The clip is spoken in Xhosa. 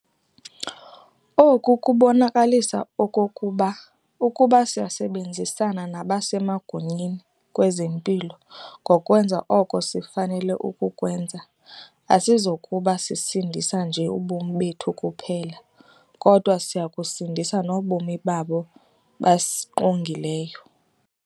Oku kubonakalisa okokuba ukuba siyasebenzisana nabasemagunyeni kwezempilo ngokwenza oko sifanele ukukwenza, asizokuba sisindisa nje ubomi bethu kuphela kodwa siya kusindisa nobomi babo basingqongileyo.